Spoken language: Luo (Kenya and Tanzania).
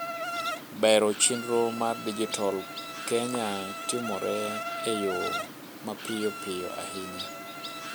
bero chienro mar dijital Kenya timore e yoo mapiyopiyo ayinya